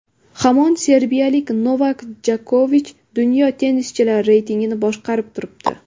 Hamon serbiyalik Novak Jokovich dunyo tennischilar reytingini boshqarib turibdi.